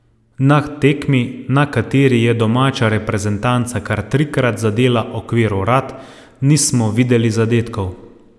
Na tekmi, na kateri je domača reprezentanca kar trikrat zadela okvir vrat, nismo videli zadetkov.